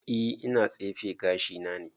E ina tsefe gashi na ne